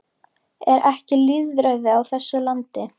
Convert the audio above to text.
Er ekki lýðræði á þessu landi?